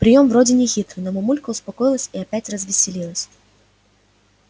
приём вроде нехитрый но мамулька успокоилась и опять развеселилась